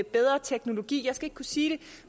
bedre teknologi jeg skal ikke kunne sige det